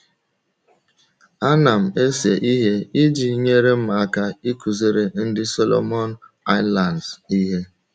Ana m ese ihe iji nyere m aka ịkụziri ndị Solomon Islands ihe